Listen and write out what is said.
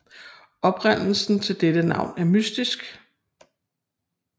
Oprindelsen til dette navn er mystisk